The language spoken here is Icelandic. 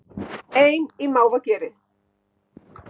Ein í mávageri